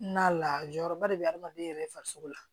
Na layɔrɔba de bɛ adamaden yɛrɛ farisogo la